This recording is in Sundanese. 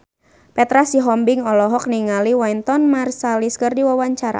Petra Sihombing olohok ningali Wynton Marsalis keur diwawancara